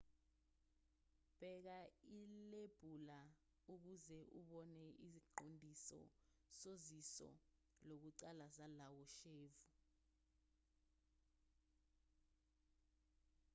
bheka ilebula ukuze ubone iziqondiso soziso lokuqala zalowo shevu